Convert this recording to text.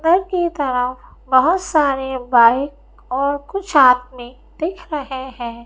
अंदर की तरफ बहुत सारे बाइक और कुछ आदमी दिख रहे हैं।